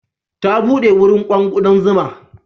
Ta buɗe wurin kown ƙudan zuma.